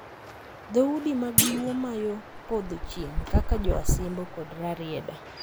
Dhoudi mag luo ma yo podho chieng', kaka Jo Asembo kod Rarieda,